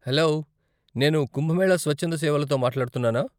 Hello, నేను కుంభమేళా స్వచ్ఛంద సేవలతో మాట్లాడుతున్నానా?